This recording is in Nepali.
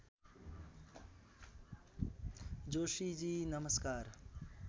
जोशीजी नमस्कार